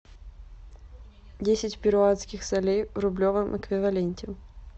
десять перуанских солей в рублевом эквиваленте